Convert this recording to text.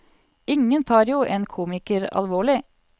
Ingen tar jo en komiker alvorlig.